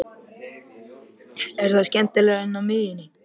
Er það skemmtilegra en á miðjunni?